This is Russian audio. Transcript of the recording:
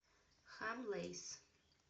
хамлэйс